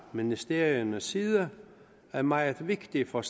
ministeriernes side er meget vigtigt for